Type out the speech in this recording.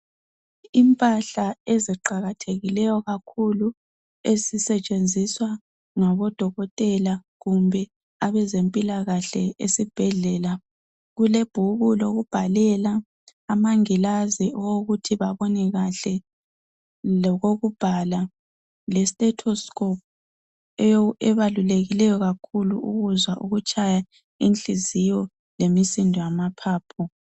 Impahla eziqakathekileyo kakhulu ezisetshenzizwa ngabo dokotela kumbe abe zempilakahle esibhedlela. Kule bhuku lokubhalela, amangilazi okuthi babone kahle. Lokokubhala le stethoscope ebalulekileyo kakhulu ukuzwa ukutshaya inhliziyo lemisindo yama phaphu.